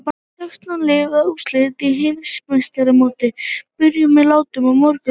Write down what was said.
Sextán liða úrslitin í Heimsmeistaramótinu byrja með látum á morgun.